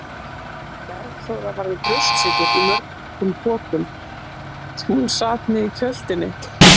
Bergþóra var með brjóstsykur í mörgum pokum sem hún sat með í kjöltunni.